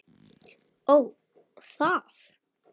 Ó, það!